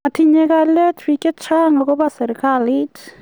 Matinye kalyet biik chechang akobo serikalit